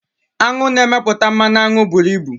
Aṅụ na-emepụta mmanụ aṅụ buru ibu.